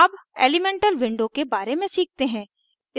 अब elemental window के बारे में सीखते हैं